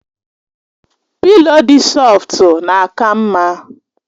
Pịlo dị sọftu na-aka mma